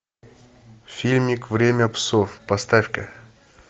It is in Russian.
фильмик время псов поставь ка